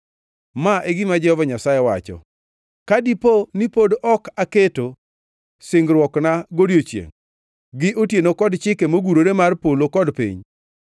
Ma e gima Jehova Nyasaye wacho: ‘Ka dipo ni pod ok aketo singruokna godiechiengʼ gi otieno kod chike mogurore mar polo kod piny,